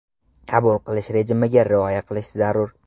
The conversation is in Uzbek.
Qabul qilish rejimiga rioya qilish zarur.